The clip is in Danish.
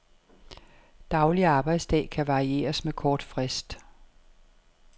Daglig arbejdsdag kan varieres med kort frist.